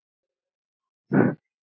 Þetta er mér að kenna.